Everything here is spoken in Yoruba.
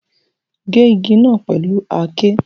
Ge igi naa pẹlu àáké